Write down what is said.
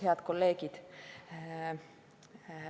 Head kolleegid!